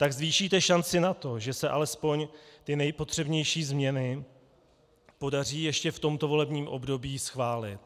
Tak zvýšíte šanci na to, že se alespoň ty nejpotřebnější změny podaří ještě v tomto volebním období schválit.